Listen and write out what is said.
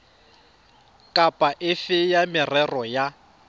kapa efe ya merero ya